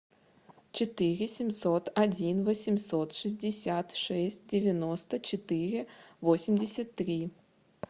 четыре семьсот один восемьсот шестьдесят шесть девяносто четыре восемьдесят три